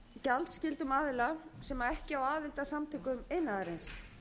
af iðnaðarmálagjaldskyldum aðila sem ekki á aðild að samtökum iðnaðarins